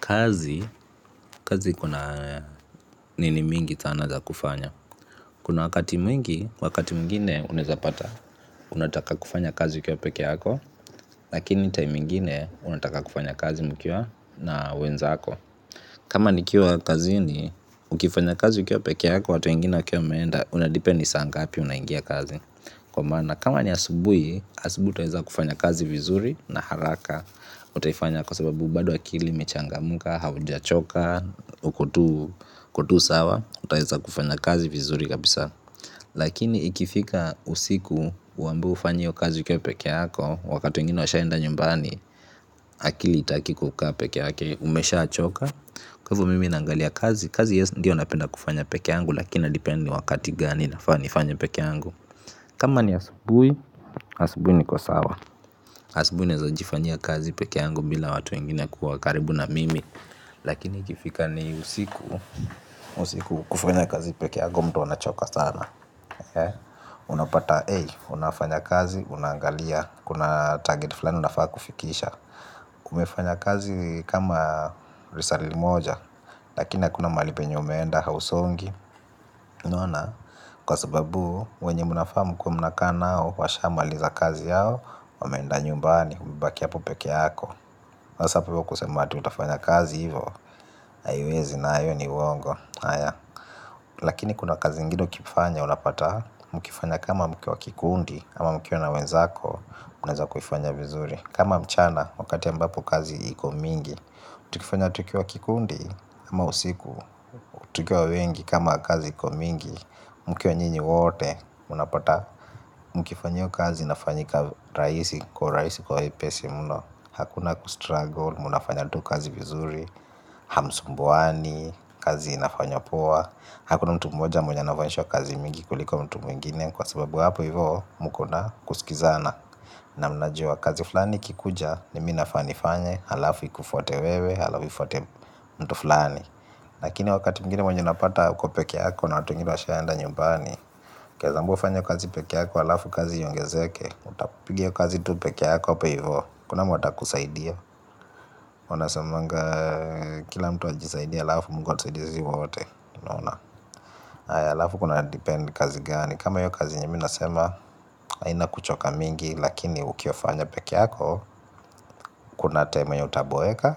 Kazi, kazi kuna nini mingi tana za kufanya. Kuna wakati mwingi, wakati mwingine unaeza pata, unataka kufanya kazi ukiwa peke yako, lakini time ingine unataka kufanya kazi mkiwa na wenzako. Kama ni kiwa kazi ni, ukifanya kazi ukiwa pekee yako, watu wengine wakiwa wameenda, unadipe ni saa ngapi unaingia kazi. Kwa maana, kama ni asubui, asubu taeza kufanya kazi vizuri na haraka, utaifanya kwa sababu, bado akili, imechanga muka, hauja choka. Ukotu sawa. Utaeza kufanya kazi vizuri kabisa. Lakini ikifika usiku. Uambiwe ufanye io kazi ukiwa peke yako. Wakati wengine washaenda nyumbani. Akili itakikukaa peke yake. Umesha choka. Kwa hivo mimi nangalia kazi. Kazi yes ndiyo napenda kufanya peke yangu. Lakini inadipen ni wakati gani nafaa nifanye peke yangu. Kama ni asubui. Asubui ni ko sawa. Asubui nawezajifanyia kazi peke yangu. Bila watu wengine kuwa karibu na mimi. Lakini ikifika ni usiku, usiku kufanya kazi peke yako mtu anachoka sana. Unapata, ey, unafanya kazi, unaangalia, kuna target fulani unafaa kufikisha. Kumefanya kazi kama risali moja, lakini hakuna mahali penye umeenda hausongi. Naona, kwa sababu, wenye munafaa mu kuwe muna kaa nao, washamaliza kazi yao, wameenda nyumbani, umebaki hapo peke yako sasa apo hivo kusema ati utafanya kazi hivo, haiwezi nayo ni uwongo haya. Lakini kuna kazi ingine ukifanya unapata, mkifanya kama mkiwa kikundi, ama mkiwa na wenzako, unaeza kuifanya vizuri. Kama mchana, wakati ambapo kazi iko mingi, tukikifanya tukiwa kikundi, ama usiku, tukiwa wengi kama kazi iko mingi, mkiwa nyinyi wote, unapata. Mkifanya iyo kazi inafanyika raisi kwa urahisi kwa wepesi mno. Hakuna kustruggle, munafanya tu kazi vizuri. Hamsumbuani, kazi inafanywa poa. Hakuna mtu mmoja mwenye anavanshwa kazi mingi kuliko mtu mwingine. Kwa sababu hapo hivoo mkona kusikizana. Na mnajua kazi flani ikikuja ni mi nafaa nifanye. Halafu ikufwate wewe, halafu ifuate mtu flani. Lakini wakati mwingine mwenye unapata uko peke yako na watu wengine wa shaenda nyumbani Keza ambiwa ufanye kazi peke yako, alafu kazi iongezeke. Utapiga iyo kazi tu peke yako, apo hivo hakuna mwata kusaidia wanasemanga kila mtu ajisaidie alafu mungu atusaidie zi wote unaona. Alafu kuna depend ni kazi gani. Kama hiyo kazi yenye minasema, haina kuchoka mingi. Lakini ukiofanya peke yako, kuna time yenye utaboeka